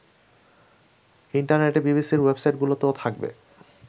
ইন্টারনেটে বিবিসির ওয়েবসাইটগুলিতেও থাকবে